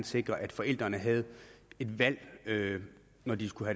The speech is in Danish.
sikre at forældrene havde et valg når de skulle